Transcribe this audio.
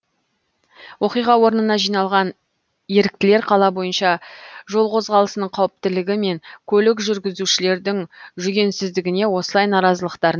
оқиға орнына жиналған еріктілер қала бойынша жол қозғалысының қауіптілігі мен көлік жүргізушілердің жүгенсіздігіне осылай наразылықтарын